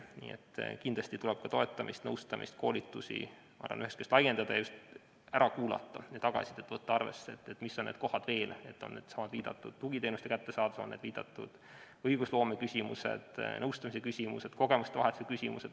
Nii et kindlasti tuleb ka toetamist, nõustamist ja koolitusi laiendada ning inimesi ära kuulata ja võtta arvesse tagasisidet, et saada teada, mis on veel need kohad, mida arvestada, kas või seesama juba viidatud tugiteenuste kättesaadavus, samuti õigusloome küsimused, nõustamise küsimused ja kogemuste vahetuse küsimused.